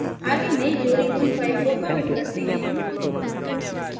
आगे नयी जोड़ी हुई file को commit करते हैं